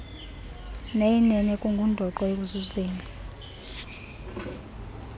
neyinene kungundoqo ekuzuzeni